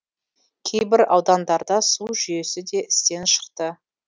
кейбір аудандарда су жүйесі де істен шықты